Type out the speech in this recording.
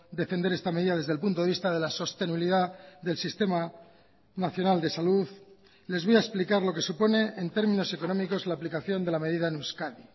defender esta medida desde el punto de vista de la sostenibilidad del sistema nacional de salud les voy a explicar lo que supone en términos económicos la aplicación de la medida en euskadi